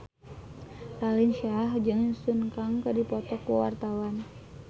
Raline Shah jeung Sun Kang keur dipoto ku wartawan